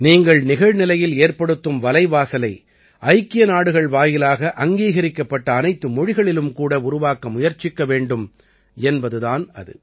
நீங்கள் நிகழ்நிலையில் ஏற்படுத்தும் வலைவாசலை ஐக்கிய நாடுகள் வாயிலாக அங்கீகரிக்கப்பட்ட அனைத்து மொழிகளிலும் கூட உருவாக்க முயற்சிக்க வேண்டும் என்பது தான் அது